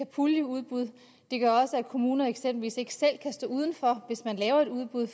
puljeudbud de gør også at kommuner eksempelvis ikke selv kan stå uden for hvis man laver et udbud